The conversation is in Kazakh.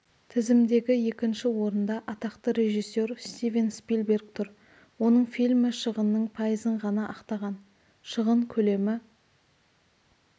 тізімдегі екінші орында атақты режиссер стивен спилберг тұр оның фильмі шығынның пайызын ғана ақтаған шығын көлемі